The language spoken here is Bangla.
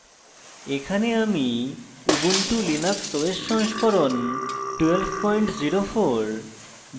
এখানে আমি ubuntu linux os সংস্করণ 1204